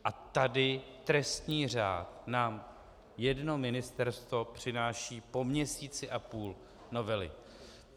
A tady trestní řád nám jedno ministerstvo přináší po měsíci a půl novely.